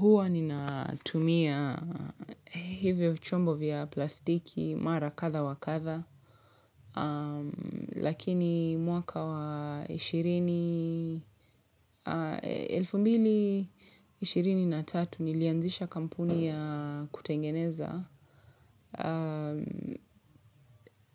Huwa ninatumia hivyo chombo vya plastiki mara kadha wa kadha. Lakini mwaka wa ishirini elfu mbili ishirini na tatu nilianzisha kampuni ya kutengeneza.